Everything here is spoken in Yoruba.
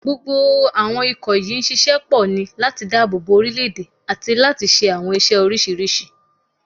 Gbogbo àwọn ikọ̀ yìí ń ṣiṣẹ́ pọ̀ ní láti dáàbò bo orílé-èdè àti láti ṣe àwọn iṣẹ́ oríṣiríṣi